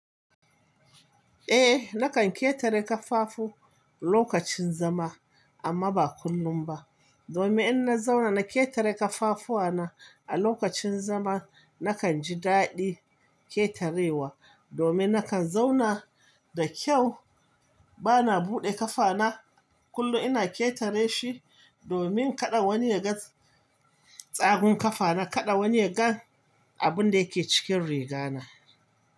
Eh, nakan ketare kafafu lokacin zama amma ba kullum ba. Domin in na zauna na ketare kafafuwa na a lokacin zama, nakan ji daɗi ketarewa, domin nakan zauna da kyau, bana buɗe kafa na kullum ina ketare shi domin kada wani ya ga tsagun kafa na, kada wani ya ga abun da yake cikin riga na.